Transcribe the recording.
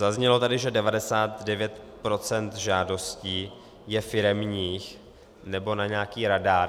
Zaznělo tady, že 99 % žádostí je firemních nebo na nějaký radar.